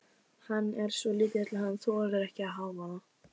Hann er svo lítill að hann þolir ekki hávaða.